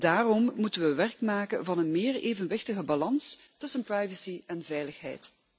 Daarom moeten we werk maken van een meer evenwichtige balans tussen privacy en veiligheid.